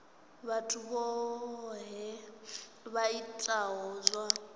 vhathu vhohe vha itaho zwa